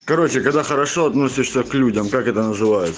короче когда хорошо относишься к людям как это называется